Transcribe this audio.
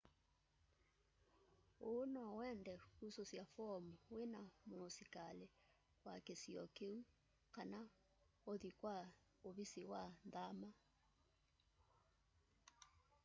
uu nowende kususya foomu wina muusikali wa kisio kiu kana uthi kwa uvisi wa nthama